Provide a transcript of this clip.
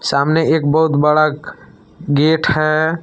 सामने एक बहुत बड़ा गेट है।